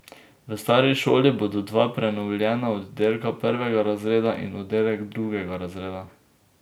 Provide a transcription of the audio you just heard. V stari šoli bodo dva prenovljena oddelka prvega razreda in oddelek drugega razreda.